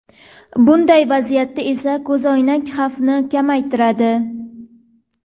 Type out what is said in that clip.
Bunday vaziyatda esa ko‘zoynak xavfni kamaytiradi.